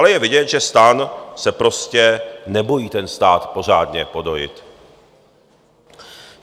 Ale je vidět, že STAN se prostě nebojí ten stát pořádně podojit.